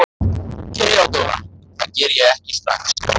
THEODÓRA: Það geri ég ekki strax.